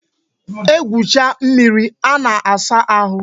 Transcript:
E gwucha mmiri a na-asa ahụ